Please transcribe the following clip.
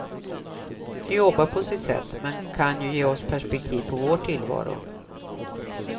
De jobbar på sitt sätt, men kan ge oss perspektiv på vår tillvaro.